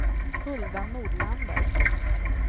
Hulda Nordlander